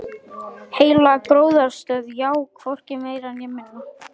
Ég fann það í sérhverri taug, sérhverju beini, sérhverjum vöðva.